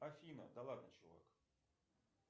афина да ладно чувак